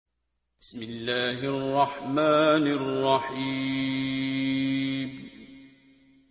بِسْمِ اللَّهِ الرَّحْمَٰنِ الرَّحِيمِ